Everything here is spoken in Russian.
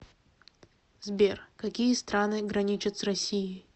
сбер какие страны граничат с россией